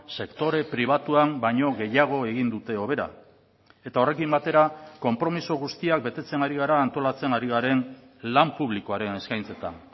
sektore pribatuan baino gehiago egin dute hobera eta horrekin batera konpromiso guztiak betetzen ari gara antolatzen ari garen lan publikoaren eskaintzetan